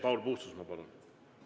Paul Puustusmaa, palun!